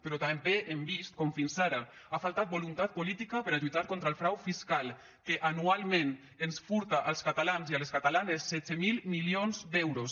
però també hem vist com fins ara ha faltat voluntat política per a lluitar contra el frau fiscal que anualment ens furta als catalans i a les catalanes setze mil milions d’euros